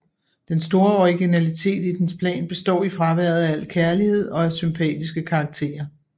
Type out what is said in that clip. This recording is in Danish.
Den store originalitet i dens plan består i fraværet af al kærlighed og af sympatiske karakterer